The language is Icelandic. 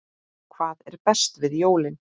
Hvað er best við jólin?